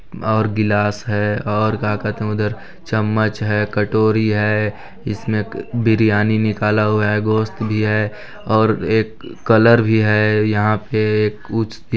और गिलास है और क्या कहते है उधर चम्मच है कटोरी है इसमें क बिरयानी निकला हुआ है गोस्त भी है और एक कलर भी है यहाँ पे कुछ--